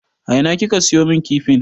A ina kika siyo min kifin?